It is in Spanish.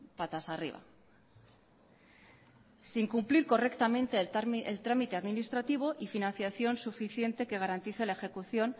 patas arriba sin cumplir correctamente el trámite administrativo y financiación suficiente que garantice la ejecución